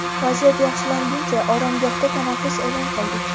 vaziyat yaxshilanguncha oromgohda tanaffus e’lon qildik.